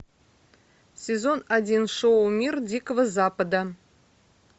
сезон один шоу мир дикого запада